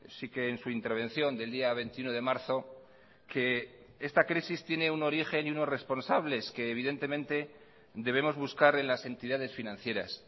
sí que en su intervención del día veintiuno de marzo que esta crisis tiene un origen y unos responsables que evidentemente debemos buscar en las entidades financieras